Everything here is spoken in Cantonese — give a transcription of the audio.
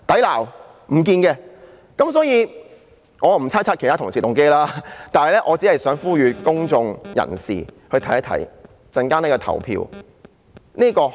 我不想猜測其他同事的動機，只想呼籲公眾人士留意稍後的投票結果。